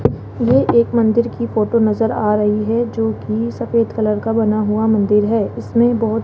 ये एक मंदिर की फोटो नजर आ रही है जो की सफेद कलर का बना हुआ मंदिर है इसमें बहोत --